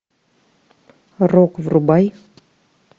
рок врубай